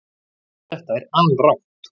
Þetta er alrangt